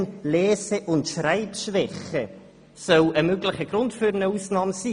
Eine «Lern-, Lese- und Schreibschwäche» soll ein möglicher Grund für eine Ausnahme sein.